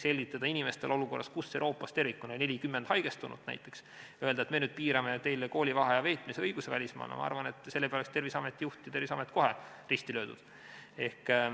Selgitada inimestele olukorras, kus Euroopas tervikuna oli 40 haigestunut, et me piirame teil koolivaheaja veetmise õigust välismaal – ma arvan, et selle peale oleks Terviseameti juht ja Terviseamet kohe risti löödud.